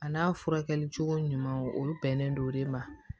A n'a furakɛli cogo ɲuman o bɛnnen don o de ma